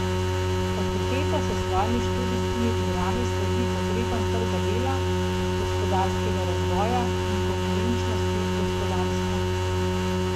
Fakulteta s svojimi študijskimi programi sledi potrebam trga dela, gospodarskega razvoja in konkurenčnosti gospodarstva.